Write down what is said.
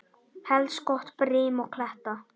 Helst gott brim og kletta.